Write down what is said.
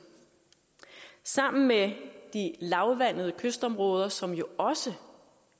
sammen med de lavvandede kystområder som jo også